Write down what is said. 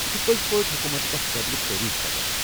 یہِ چھُ پٔزۍ پٲٹھۍ حكوٗمتُك اکھ قٲبلہِ تعریٖف قدم۔